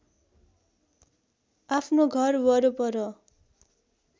आफ्नो घरवरपर